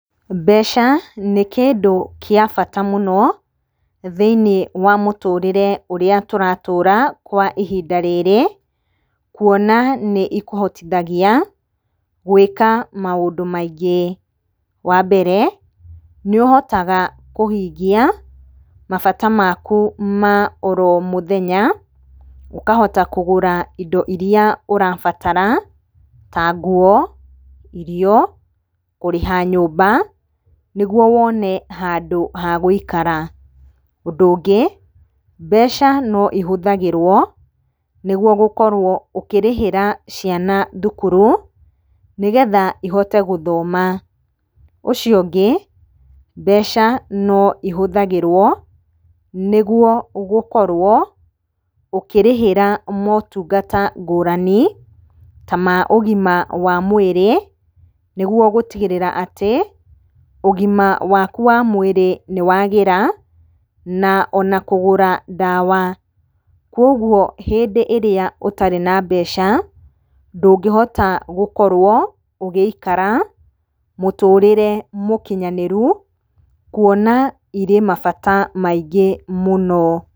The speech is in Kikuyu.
Mbeca nĩ kĩndũ gĩa bata mũno, thĩinĩ wa mũtũrĩre ũrĩa tũratũra kwa ihinda rĩrĩ, kũona nĩ ikũhotithagia gwĩka maũndũ maingĩ. Wa mbere, nĩ ũhotaga kũhingia mabata maku ma oro mũthenya ũkahota kũgũra indo iria ũrabatara ta nguo, irio, kurĩha nyũmba nĩguo wone handũ hagũikara. Ũndũ ũngĩ, mbeca no ihũthagĩrwo nĩguo gũkorwo ũkĩrĩhĩra ciana thukuru nĩgetha ihote gũthoma. Ũcio ũngĩ, mbeca no ihũthagĩrwo nĩguo gũkorwo ũkĩrĩhĩra motungata ngũrani, ta ma ũgima wa mwĩrĩ nĩgũo gũtigĩrĩra atĩ ũgima waku wa mwĩrĩ nĩ wagĩra na ona kũgũra ndawa. Kogwo hĩndĩ ĩrĩa ũtarĩ na mbeca ndũngĩhota gũkorwo ũgĩikara mũtũrĩre mũkinyanĩru kũona irĩ mabata maingĩ mũno.